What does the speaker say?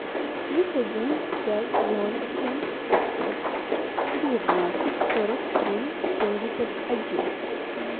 плюс один пять ноль семь пятьсот девятнадцать сорок три семьдесят один